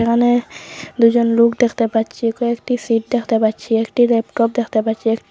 দোকানে দুজন লোক দেখতে পাচ্ছি কয়েকটি সিট দেখতে পাচ্ছি একটি ল্যাপটপ দেখতে পাচ্ছি একটি--